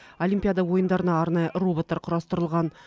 олимпиада ойындарына арнайы роботтар құрастырылған